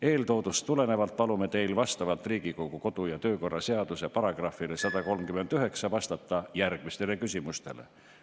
Eeltoodust tulenevalt palume teil vastavalt Riigikogu kodu- ja töökorra seaduse §-le 139 vastata järgmistele küsimustele.